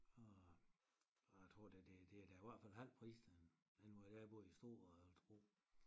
Og a tror da det det er da i hvert fald halv pris end hvor jeg boede i Struer og Holstebro